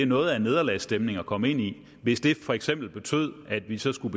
noget af en nederlagsstemning at komme ind i hvis det for eksempel betød at vi så skulle